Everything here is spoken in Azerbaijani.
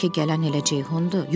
Bəlkə gələn elə Ceyhundur?